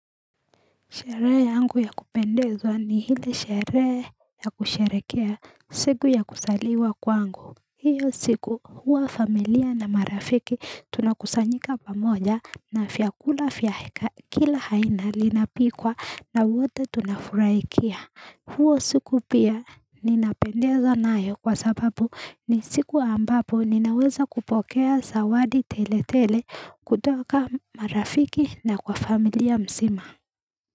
Sherehe yangu ya kupendeza ni hile sherehe ya kusherehekea siku ya kuzaliwa kwangu hiyo siku huwa familia na marafiki tunakusanyika pamoja na vyakula vya kila aina linapikwa na wote tunafurahia huo siku pia ninapendezwa nayo kwa sababu ni siku ambapo ninaweza kupokea zawadi tele tele kutoka marafiki na kwa familia mzima.